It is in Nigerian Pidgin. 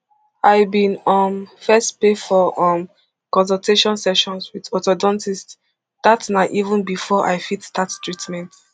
i bin um first pay for um consultation sessions wit orthodontists dat na even bifor i fit start treatment